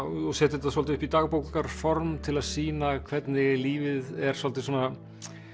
og set þetta svolítið upp í til að sýna hvernig lífið er svolítið svona